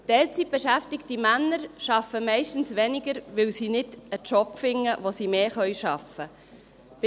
Teilzeitbeschäftigte Männer arbeiten meist weniger, weil sie keinen Job finden, bei dem sie mehr arbeiten können.